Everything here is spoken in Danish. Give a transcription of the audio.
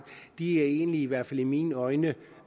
er egentlig nok i hvert fald i mine øjne